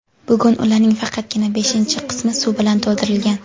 Bugun ularning faqatgina beshinchi qismi suv bilan to‘ldirilgan.